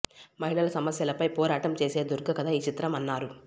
మహిళల సమస్యలపై పోరాటం చేసే దుర్గ కథ ఈ చిత్రం అన్నారు